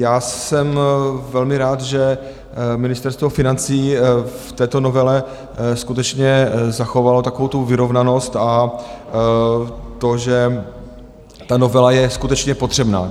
Já jsem velmi rád, že Ministerstvo financí v této novele skutečně zachovalo takovou tu vyrovnanost a to, že ta novela je skutečně potřebná.